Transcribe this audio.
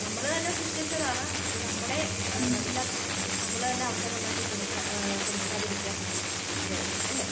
നമ്മള് തന്നെ സൃഷ്ടിച്ചതാണ് അത് നമ്മളെ ഇല്ലാതാക്കാൻ നമ്മള് തന്നെ അവസരം ഉണ്ടാക്കി കൊടുക്കാതിരിക്കാ ഇല്ലാതാക്കാൻ അത്രയെ ഉള്ളു അല്ലേ?